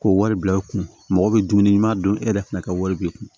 K'o wari bila i kun mɔgɔ bɛ dumuni ɲuman don e yɛrɛ fana ka wari b'i kun